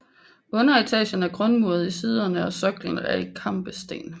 Underetagen er grundmuret i siderne og soklen er i kampesten